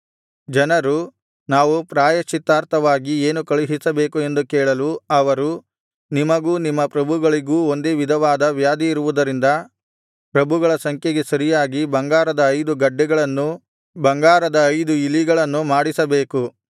ಜನರು ನಾವು ಪ್ರಾಯಶ್ಚಿತ್ತಾರ್ಥವಾಗಿ ಏನು ಕಳುಹಿಸಬೇಕು ಎಂದು ಕೇಳಲು ಅವರು ನಿಮಗೂ ನಿಮ್ಮ ಪ್ರಭುಗಳಿಗೂ ಒಂದೇ ವಿಧವಾದ ವ್ಯಾಧಿ ಇರುವುದರಿಂದ ಪ್ರಭುಗಳ ಸಂಖ್ಯೆಗೆ ಸರಿಯಾಗಿ ಬಂಗಾರದ ಐದು ಗಡ್ಡೆಗಳನ್ನೂ ಬಂಗಾರದ ಐದು ಇಲಿಗಳನ್ನು ಮಾಡಿಸಬೇಕು